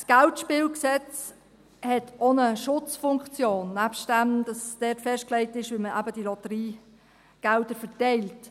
– Das KGSG hat auch eine Schutzfunktion, nebst dem, dass dort festgelegt ist, wie man eben die Lotteriegelder verteilt.